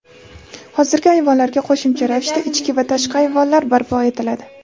Hozirgi ayvonlarga qo‘shimcha ravishda ichki va tashqi ayvonlar barpo etiladi.